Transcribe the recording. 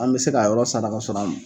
An bɛ se k'a yɔrɔ sara kasɔrɔ an m